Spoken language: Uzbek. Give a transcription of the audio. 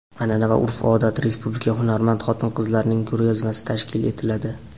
anʼana va urf-odat respublika hunarmand xotin-qizlarining ko‘rgazmasi tashkil etiladi.